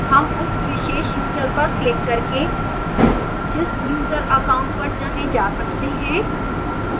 हम उस विशेष user पर क्लिक करके जिस user account पर चाहें जा सकते हैं